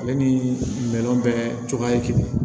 Ale ni bɛɛ cogoya ye kelen ye